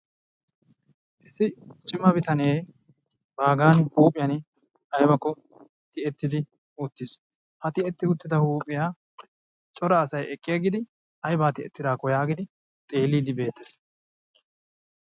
issi comma bitanee baaga huuphiyani aybakko tiyettiis, ha tiyettida huuphiya aybakko giidi cora asay xeeliidi de'ees.